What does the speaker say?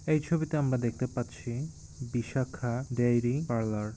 এই ছবিতে আমরা দেখতে পাচ্ছি বিশাখা ডেইরি পার্লার ।